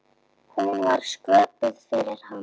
Hún var sköpuð fyrir hann.